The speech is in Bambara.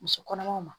Muso kɔnɔmaw ma